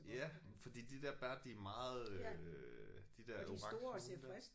Ja fordi de der bær de er meget øh de der orange nogle der